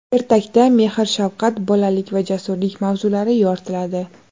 Ertakda mehr-shafqat, bolalik va jasurlik mavzulari yoritiladi.